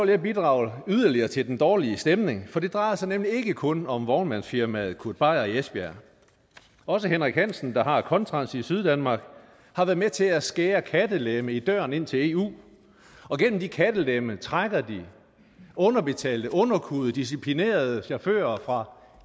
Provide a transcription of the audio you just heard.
jeg bidrage yderligere til den dårlige stemning for det drejer sig nemlig ikke kun om vognmandsfirmaet kurt beier i esbjerg også henrik hansen der har contrans i syddanmark har været med til at skære kattelemme i døren ind til eu og gennem de kattelemme trækker de underbetalte underkuede disciplinerede chauffører